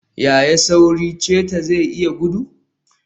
Yaya sauri cheetah zai iya gudu?